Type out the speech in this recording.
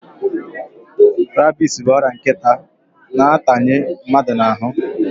Rabis bụ ọrịa nkịtị na-atanye mmadụ n'ahụ.